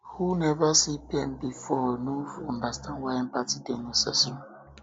who neva see pain before fit no understand why empathy dey necessary